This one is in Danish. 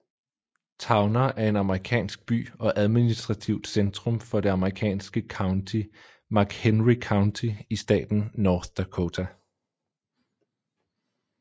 Towner er en amerikansk by og administrativt centrum for det amerikanske county McHenry County i staten North Dakota